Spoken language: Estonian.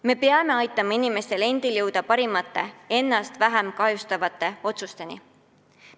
Me peame kaasa aitama, et inimesed teeksid ennast vähem kahjustavaid otsuseid.